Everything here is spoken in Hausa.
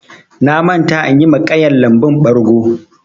Na manta inyi ma ƙayan lambun ɓargo.